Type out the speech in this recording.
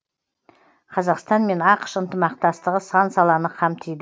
қазақстан мен ақш ынтымақтастығы сан саланы қамтиды